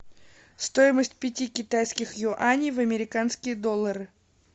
стоимость пяти китайских юаней в американские доллары